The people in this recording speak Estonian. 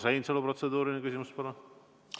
Urmas Reinsalu, protseduuriline küsimus, palun!